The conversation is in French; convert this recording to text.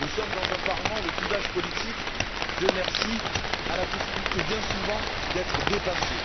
Nous sommes dans un Parlement où le clivage politique Dieu merci a la possibilité, bien souvent, d'être dépassé.